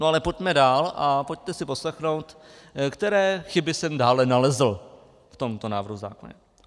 No ale pojďme dál a pojďme si poslechnout, které chyby jsem dále nalezl v tomto návrhu zákona.